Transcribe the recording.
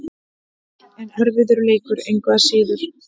En erfiður leikur, engu að síður.